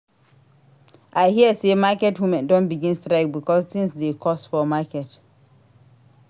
I hear sey market women don begin strike because tins dey cost for market.